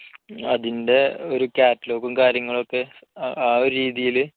അതിന്റെ ഒരു catalogue ഉം കാര്യങ്ങളൊക്കെ ആ ഒരു രീതിയില്